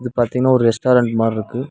இது பாத்தீங்னா ஒரு ரெஸ்டாரன்ட் மாரி இருக்கு.